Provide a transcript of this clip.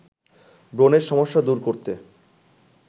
ব্রণের সমস্যা দূর করতে